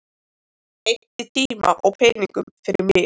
Eyddi tíma og peningum fyrir mig.